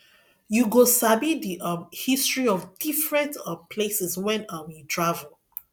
you go sabi the um history of different um places when um you travel